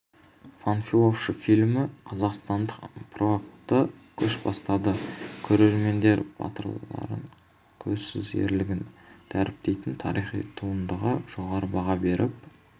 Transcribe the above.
панфиловшы фильмі қазақстандық прокатта көш бастады көрермендер батырлардың көзсіз ерлігін дәріптейтін тарихи туындыға жоғары баға беріп